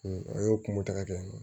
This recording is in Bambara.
A y'o kungo tigɛ